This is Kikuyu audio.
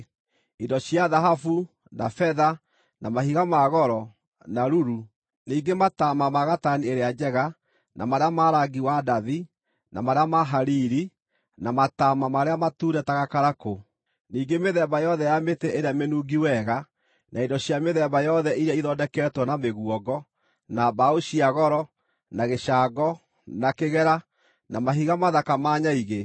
indo cia thahabu, na betha, na mahiga ma goro, na ruru; ningĩ mataama ma gatani ĩrĩa njega, na marĩa ma rangi wa ndathi, na marĩa ma hariri, na mataama marĩa matune ta gakarakũ; ningĩ mĩthemba yothe ya mĩtĩ ĩrĩa mĩnungi wega, na indo cia mĩthemba yothe iria ithondeketwo na mĩguongo, na mbaũ cia goro, na gĩcango, na kĩgera, na mahiga mathaka ma nyaigĩ;